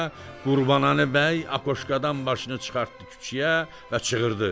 Qurbanəli bəy akoşkadan başını çıxartdı küçüyə və çığırdı: